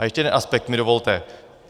A ještě jeden aspekt mi dovolte.